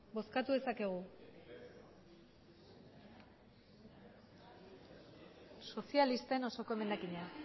bozkatu dezakegu sozialisten osoko emendakina